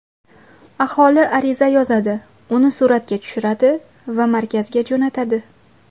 Aholi ariza yozadi, uni suratga tushiradi va markazga jo‘natadi.